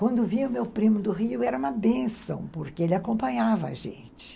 Quando vinha o meu primo do Rio, era uma bênção, porque ele acompanhava a gente.